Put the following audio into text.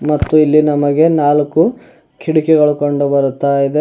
ಮತ್ತು ಇಲ್ಲಿ ನಮಗೆ ನಾಲ್ಕು ಕಿಟಕಿಗಳು ಕಂಡು ಬರುತ್ತ ಇದೆ.